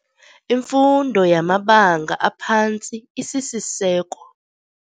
Imfundo yamabanga aphantsi isisiseko.